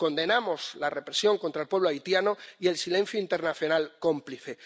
Condenamos la represión contra el pueblo haitiano y el silencio internacional cómplice.